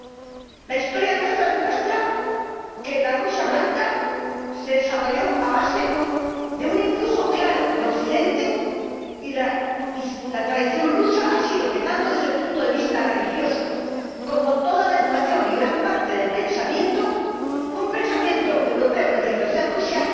Nuestra historia demuestra que la Rusia blanca se desarrolló a base de un influjo claro de Occidente, y la tradición rusa ha sido, tanto desde el punto de vista religioso como del de toda la educación y de gran parte del pensamiento, un pensamiento europeo que enriqueció a Rusia